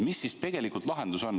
Mis siis tegelikult lahendus on?